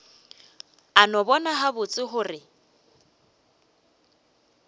a no bona gabotse gore